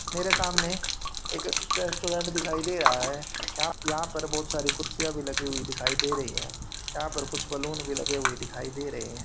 मेरे सामने एक रेस्टोरेंट दिखाई दिखाई दे रहा है यहां यहां पर बहोत सारी कुर्सियां भी लगी हुए दिखाई दे रही है यहां पर कुछ बैलून भी लगे हुए दिखाई दे रहे --